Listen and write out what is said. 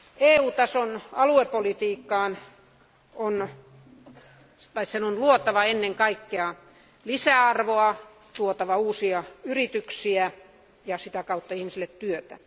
EU tason aluepolitiikan on luotava ennen kaikkea lisäarvoa, tuotava uusia yrityksiä ja sitä kautta ihmisille työtä.